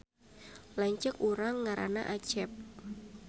Lanceuk urang ngaranna Acep